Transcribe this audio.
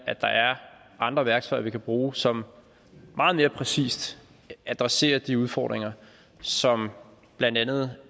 at der er andre værktøjer vi kan bruge som meget mere præcist adresserer de udfordringer som blandt andet